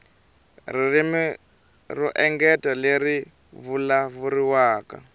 ririmi ro engetela leri vulavuriwaka